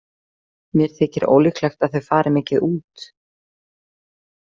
Mér þykir ólíklegt að þau fari mikið út.